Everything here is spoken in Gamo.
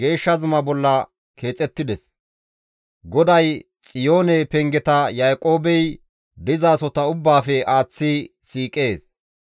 GODAY Xiyoone pengeta Yaaqoobey dizasota ubbaafe aaththi siiqees.